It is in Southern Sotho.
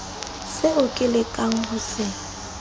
seo ke lekang ho se